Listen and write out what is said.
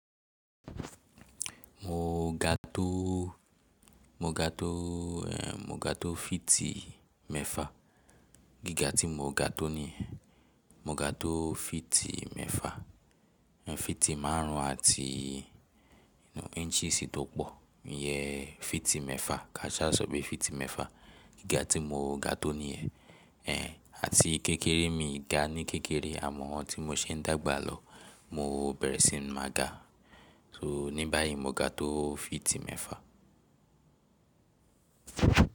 Mo ga tó, mo ga tó, mo ga tó fíìtì mẹ́fa, gíga tí mo ga tó niyen, mo ga tó fíìtì mẹ́fa. Fíìtì márùn ún àti inú inches tó pọ̀ yẹn fíìtì mẹ́fa, kaṣá sọ̀ pe fíìtì mẹ́fa. Gíga tí mo ga tó niyẹn. Ehn, àti kékeré mi ga ní kékeré àmọ́ ohun tí mo ṣe ń dàgbà lọ mo bẹ̀rẹ̀ sí máa ga. So ní báyìí mo ga tó fíìtì mẹ́fa.